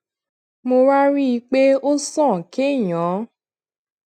mo wá rí i pé ó sàn kéèyàn